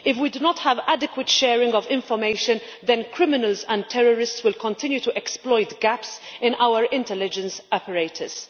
If we do not have adequate sharing of information, then criminals and terrorists will continue to exploit gaps in our intelligence apparatus.